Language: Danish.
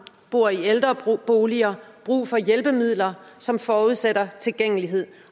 bor i ældreboliger brug for hjælpemidler som forudsætter tilgængelighed